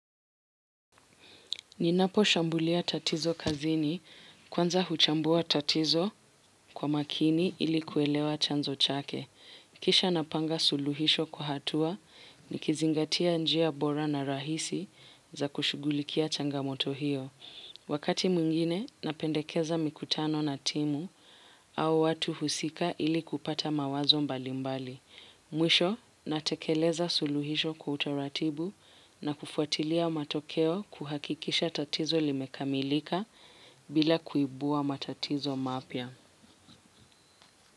Ninaposhambulia tatizo kazini kwanza huchambua tatizo kwa makini ili kuelewa chanzo chake. Kisha napanga suluhisho kwa hatua nikizingatia njia bora na rahisi za kushugulikia changamoto hiyo. Wakati mwingine napendekeza mikutano na timu au watu husika ili kupata mawazo mbalimbali. Mwisho natekeleza suluhisho kwa utaratibu na kufuatilia matokeo kuhakikisha tatizo limekamilika bila kuibua matatizo mapya.